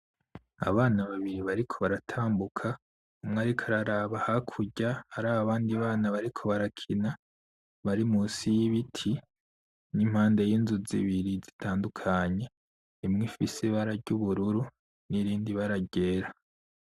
Abana babiri bariko baratambuka, umwe ariko araraba hakurya araba abandi bana bariko barakina bari munsi y'ibiti, n'impande y'inzu zibiri zitandukanye. Imwe ifise ibara ry'ubururu n'irindi bara ryera.